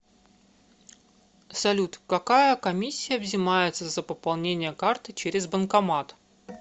салют какая комиссия взимается за пополнение карты через банкомат